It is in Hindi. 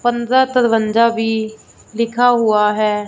पंद्रह तरवंजा भी लिखा हुआ है।